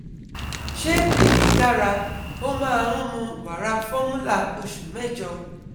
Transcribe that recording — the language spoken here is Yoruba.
Ṣé èyí dára? Ó máa ń mu wara fọ́rmúlà ọṣù mẹ́jọ